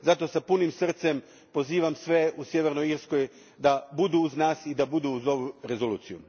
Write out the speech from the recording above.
Zato s punim srcem pozivam sve u Sjevernoj Irskoj da budu uz nas i da budu uz ovu rezoluciju.